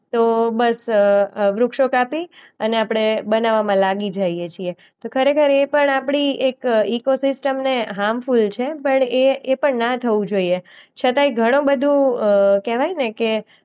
તો બસ અ વૃક્ષો કાપી અને આપણે બનાવવામાં લાગી જાઈએ છીએ. તો ખરેખર એ પણ આપણી એક ઈકોસિસ્ટમને હાર્મફૂલ છે. પણ એ એ પણ ના થવું જોઈએ છતાંય ઘણું બધું અ કહેવાયને કે